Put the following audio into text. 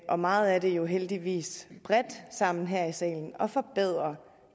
og meget af det jo heldigvis bredt sammen her i salen at forbedre